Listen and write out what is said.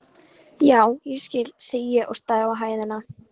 Já, ég skil, segi ég og stari á hæðina.